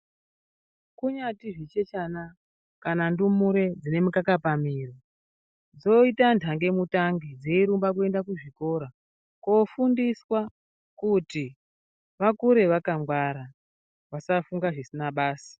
Kunyati zvichechana kana ndumure dzine mikaka pamwiri dzoita ndange mitange dzeirumba kuenda kuzvikora kofundiswa kuti vakure vakangwara vasafunga zvisina basa.